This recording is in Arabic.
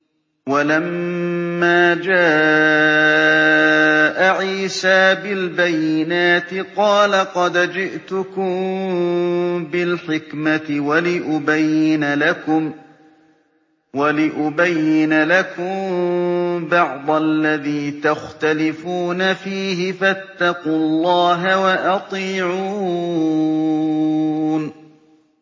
وَلَمَّا جَاءَ عِيسَىٰ بِالْبَيِّنَاتِ قَالَ قَدْ جِئْتُكُم بِالْحِكْمَةِ وَلِأُبَيِّنَ لَكُم بَعْضَ الَّذِي تَخْتَلِفُونَ فِيهِ ۖ فَاتَّقُوا اللَّهَ وَأَطِيعُونِ